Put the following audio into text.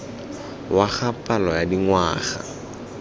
wa ga palo ya dingwaga